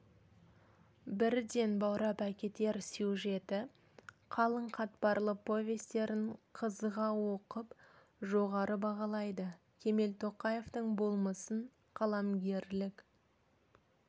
бірден баурап әкетер сюжеті қалың қатпарлы повестерін қызыға оқып жоғары бағалайды кемел тоқаевтың болмысын қаламгерлік